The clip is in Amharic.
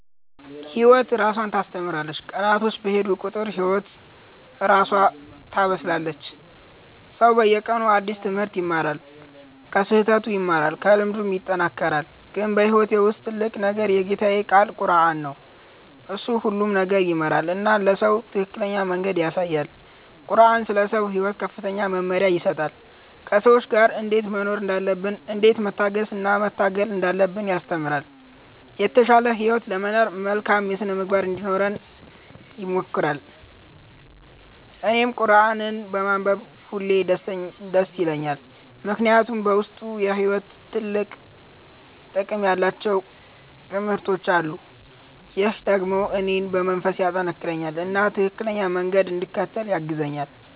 ህይወት እራሷ ታስተምራለች፤ ቀናቶች በሄዱ ቁጥር ህይወት እራሷ ታበስላለች። ሰው በየቀኑ አዲስ ትምህርት ይማራል፣ ከስህተቱም ይማራል፣ ከልምዱም ይጠናከራል። ግን በህይወቴ ውስጥ ትልቁ ነገር የጌታዬ ቃል ቁረአን ነው። እሱ ሁሉን ነገር ይመራል እና ለሰው ትክክለኛ መንገድ ያሳያል። ቁረአን ስለ ሰው ሕይወት ከፍተኛ መመሪያ ይሰጣል፤ ከሰዎች ጋር እንዴት መኖር እንዳለብን፣ እንዴት መታገስ እና መታገል እንዳለብን ያስተምራል። የተሻለ ህይወት ለመኖር መልካም ሥነ-ምግባር እንዲኖረን ይመክራል። እኔም ቁረአንን በማንበብ ሁሌ ደስ ይለኛል፣ ምክንያቱም በውስጡ የሕይወት ጥቅም ያላቸው ትምህርቶች አሉ። ይህ ደግሞ እኔን በመንፈስ ያጠናክረኛል እና ትክክለኛ መንገድ እንድከተል ያግዛኛል።